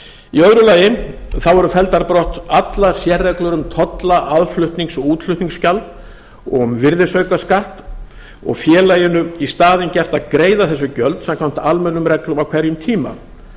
í öðru lagi eru felldar brot allar sérreglur um tolla aðflutnings og útflutningsgjald og um virðisaukaskatt og félaginu í staðinn gert að greiða þessi gjöld samkvæmt almennum reglum á hverjum tíma